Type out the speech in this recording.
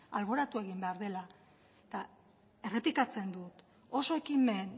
alboratu egin behar direla eta errepikatzen dut oso ekimen